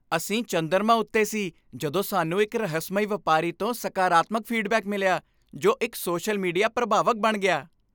ਅਸੀਂ ਚੰਦਰਮਾ ਉੱਤੇ ਸੀ ਜਦੋਂ ਸਾਨੂੰ ਇੱਕ ਰਹੱਸਮਈ ਵਪਾਰੀ ਤੋਂ ਸਕਾਰਾਤਮਕ ਫੀਡਬੈਕ ਮਿਲਿਆ ਜੋ ਇੱਕ ਸੋਸ਼ਲ ਮੀਡੀਆ ਪ੍ਰਭਾਵਕ ਬਣ ਗਿਆ।